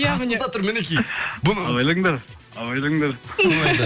қасымызда тұр мінекей абайлаңдар абайлаңдар